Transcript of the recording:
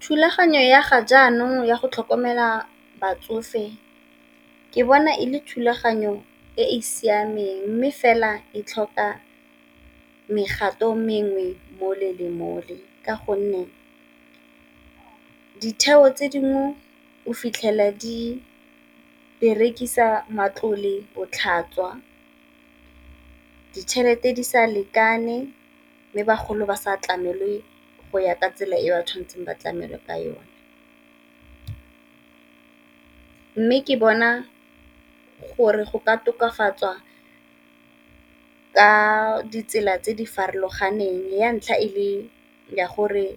Thulaganyo ya ga jaanong ya go tlhokomela batsofe ke bona e le thulaganyo e e siameng, mme fela e tlhoka mogato mengwe mole le mole ka gonne ditheo tse dingwe o fitlhela di berekisa matlole botlhaswa, ditšhelete di sa lekane mme bagolo ba sa tlamelwe go ya ka tsela e ba tshwanetseng ba tlamilwe ka yone. Mme ke bona gore go ka tokafatswa ka ditsela tse di farologaneng ya ntlha e le ya gore